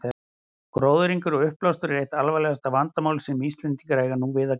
Gróðureyðing og uppblástur eru eitt alvarlegasta vandamál sem Íslendingar eiga nú við að glíma.